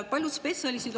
Paljud spetsialistid on …